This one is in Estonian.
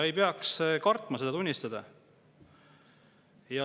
Ei peaks kartma seda tunnistada.